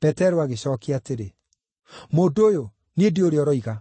Petero agĩcookia atĩrĩ, “Mũndũ ũyũ, niĩ ndiũĩ ũrĩa ũroiga!”